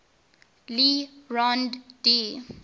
le rond d